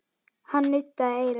Hann nuddaði eyrað.